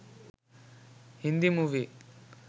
Hindi movie